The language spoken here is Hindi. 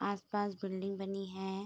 आस-पास बिल्डिंग बनी है।